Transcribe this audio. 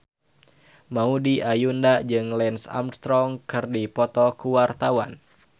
Maudy Ayunda jeung Lance Armstrong keur dipoto ku wartawan